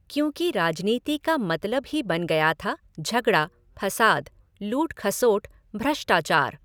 क्योंकि राजनीति का मतलब ही बन गया था झगड़ा, फसाद, लूट खसोट, भ्रष्टाचार!